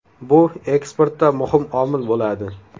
Bu eksportda muhim omil bo‘ladi.